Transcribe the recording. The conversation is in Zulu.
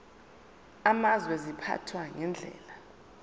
amazwe ziphathwa ngendlela